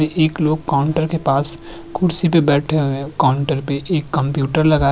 इ इक लोग काउंटर के पास खुर्ची पे बैठे हुए है काउंटर पे एक कम्प्यूटर लगा ए।